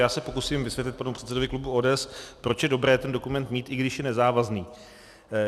Já se pokusím vysvětlit panu předsedovi klubu ODS, proč je dobré ten dokument mít, i když je nezávazný.